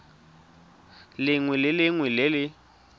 lengwe le lengwe le le